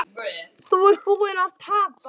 Þú ert búinn að tapa